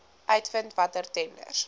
uitvind watter tenders